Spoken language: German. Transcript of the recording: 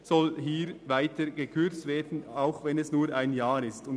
Auch hier soll während eines Jahres gekürzt werden.